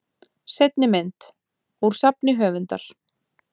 Seinni mynd: Úr safni höfundar.